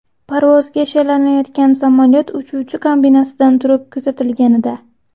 Parvozga shaylanayotgan samolyot uchuvchi kabinasidan turib kuzatilganida.